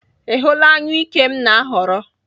Ị hụla anyụike m na-ahọrọ?